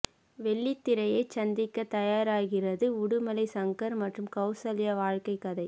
வெள்ளித்திரையைச் சந்திக்க தயாராகுகிறது உடுமலை சங்கர் மற்றும் கௌசல்யா வாழ்க்கை கதை